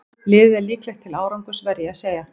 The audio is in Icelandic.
Liðið er líklegt til árangurs verð ég að segja.